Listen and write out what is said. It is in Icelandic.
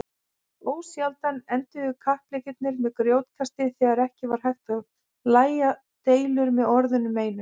Ósjaldan enduðu kappleikirnir með grjótkasti þegar ekki var hægt að lægja deilur með orðunum einum.